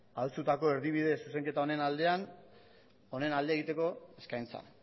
adostutako erdibide zuzenketa honen aldean honen alde egiteko eskaintza